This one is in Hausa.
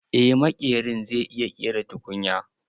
Eh maƙerin zai iya ƙera tukunya.